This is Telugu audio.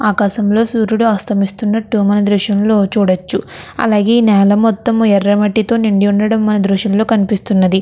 ఆకాశంలోని సూర్యుడు అస్తమిస్తున్నట్టు మనం దృశ్యంలో చూడొచ్చు. అలాగే నేల మొత్తము ఎర్రటి మట్టితో ఉండడం మనకి దృశ్యంలో కనిపిస్తూ ఉన్నది.